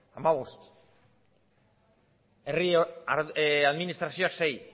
hamabost herri administrazioak sei